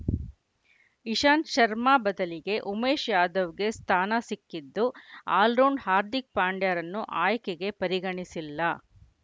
ಇಶಾಂತ್‌ ಶರ್ಮಾ ಬದಲಿಗೆ ಉಮೇಶ್‌ ಯಾದವ್‌ಗೆ ಸ್ಥಾನ ಸಿಕ್ಕಿದ್ದು ಆಲ್ರೌಂಡರ್‌ ಹಾರ್ದಿಕ್‌ ಪಾಂಡ್ಯರನ್ನು ಆಯ್ಕೆಗೆ ಪರಿಗಣಿಸಿಲ್ಲ